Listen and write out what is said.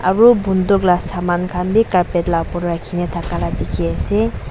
aru bunduk laga saman khan bhi carpet laga opor te thaka laga dekhi ase.